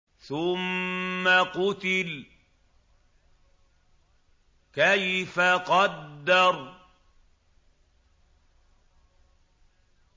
ثُمَّ قُتِلَ كَيْفَ قَدَّرَ